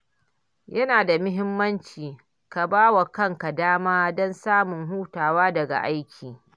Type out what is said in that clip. Yana da muhimmanci ka ba wa kanka dama don samun hutawa daga aiki.